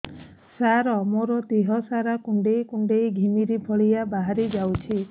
ସାର ମୋର ଦିହ ସାରା କୁଣ୍ଡେଇ କୁଣ୍ଡେଇ ଘିମିରି ଭଳିଆ ବାହାରି ଯାଉଛି